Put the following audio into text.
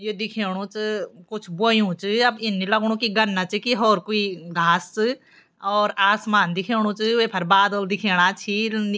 यी दिखेणु च कुछ बोयुं च अब इन नी लगणु गन्ना च की होर कुई घास च और आसमान दिखेणु च वेफर बादल दिखेणा छि नि --